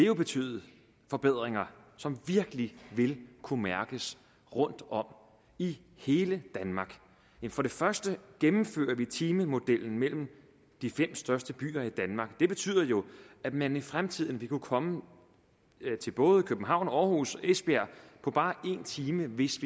vil betyde forbedringer som virkelig vil kunne mærkes rundtom i hele danmark for det første gennemfører vi timemodellen mellem de fem største byer i danmark det betyder jo at man i fremtiden vil kunne komme til både københavn aarhus og esbjerg på bare en time hvis